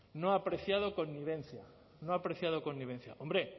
no ha apreciado connivencia no ha apreciado connivencia hombre